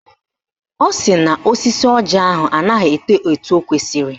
Ọ sị na osisi ọjị ahụ anaghị eto etu o kwesiri